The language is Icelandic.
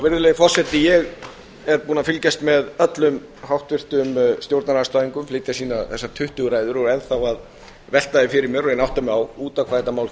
virðulegi forseti ég er búinn að fylgjast með öllum háttvirtum stjórnarandstæðingum flytja sínar tuttugu ræður og enn þá að velta því fyrir mér og reyna að átta mig á út á hvað þetta mál